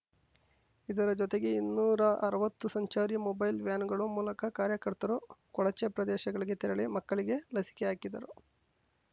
ಇದರ ಜೊತೆಗೆ ಇನ್ನೂರ ಅರ್ವತ್ತು ಸಂಚಾರಿ ಮೊಬೈಲ್ ವ್ಯಾನ್‌ಗಳ ಮೂಲಕ ಕಾರ್ಯಕರ್ತರು ಕೊಳಚೆ ಪ್ರದೇಶಗಳಿಗೆ ತೆರಳಿ ಮಕ್ಕಳಿಗೆ ಲಸಿಕೆ ಹಾಕಿದರು